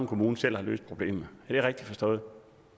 kommune selv har løst problemet er det rigtigt forstået